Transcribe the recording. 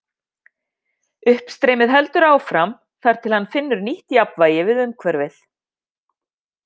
Uppstreymið heldur áfram þar til hann finnur nýtt jafnvægi við umhverfið.